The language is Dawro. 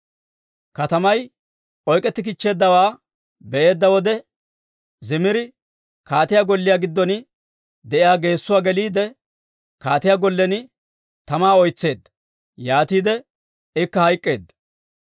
Katamay oyk'etikkichcheeddawaa be'eedda wode, Zimiri kaatiyaa golliyaa giddon de'iyaa geesuwaa geliide, kaatiyaa gollen tamaa oytseedda; yaatiide ikka hayk'k'eedda.